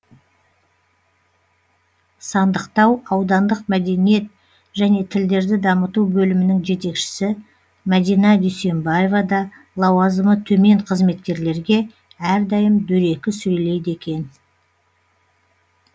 сандықтау аудандық мәдениет және тілдерді дамыту бөлімінің жетекшісі мәдина дүйсенбаева да лауазымы төмен қызметкерлерге әрдайым дөрекі сөйлейді екен